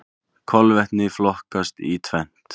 Kolvetni flokkast í tvennt.